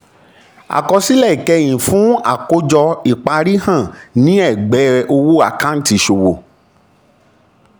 àkọsílẹ̀ ìkẹyìn fi àkójọ ìparí hàn ní ẹ̀gbẹ́ owó àkáǹtì ìṣòwò.